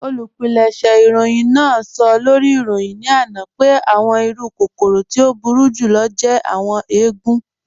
Olúpìlẹ̀ṣẹ̀ ìròyìn náà sọ̀ lórí ìròyìn ní ana pẹ̀ àwọn ìrù kòkòrò tí o búru jùlọ̀ jẹ̀ àwọn èègùn.